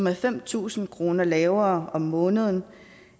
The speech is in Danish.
er fem tusind kroner lavere om måneden